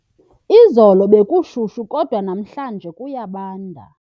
Izolo bekushushu kodwa namhlanje kuyabanda.